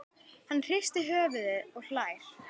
Hann hristir höfuðið og hlær.